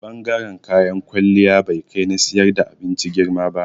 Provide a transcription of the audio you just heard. Bangaren kayan kwalliya bai kai na siyar da abinci girma ba.